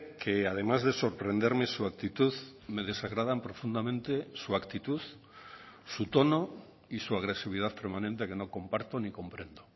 que además de sorprenderme su actitud me desagradan profundamente su actitud su tono y su agresividad permanente que no comparto ni comprendo